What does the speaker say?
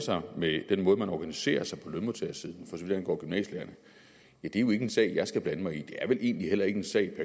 sig med den måde man organiserer sig på lønmodtagersiden så vidt angår gymnasielærerne er jo ikke en sag jeg skal blande mig i det er vel egentlig heller ikke en sag